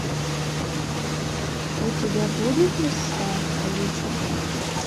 у тебя будет лиса алиса